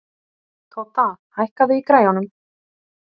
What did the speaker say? Todda, hækkaðu í græjunum.